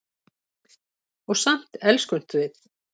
Og samt elskumst við.